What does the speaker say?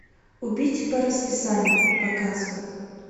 убить по расписанию показывай